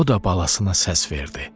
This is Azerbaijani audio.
O da balasına səs verdi.